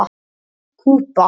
Kúba